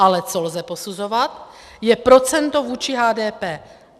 Ale co lze posuzovat, je procento vůči HDP.